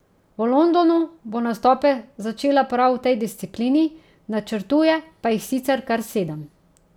V Londonu bo nastope začela prav v tej disciplini, načrtuje pa jih sicer kar sedem.